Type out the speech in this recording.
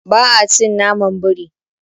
Ba a cin naman biri.